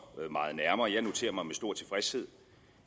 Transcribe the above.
meget nærmere jeg noterer mig med stor tilfredshed